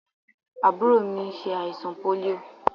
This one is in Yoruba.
Àbúrò mi ṣẹ àìsàn pólíò.